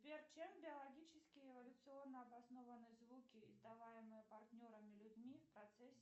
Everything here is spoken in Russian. сбер чем биологически эволюционно обоснованы звуки издаваемые партнерами людьми в процессе